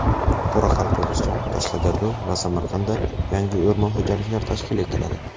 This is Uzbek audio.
Qoraqalpog‘iston, Qashqadaryo va Samarqandda yangi o‘rmon xo‘jaliklari tashkil etiladi.